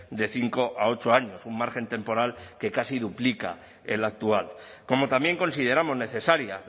de cinco a ocho años un margen temporal que casi duplica el actual como también consideramos necesaria